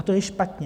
A to je špatně.